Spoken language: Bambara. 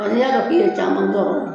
Ɔ n'i y'a dɔn k'i ye caman kɛ o la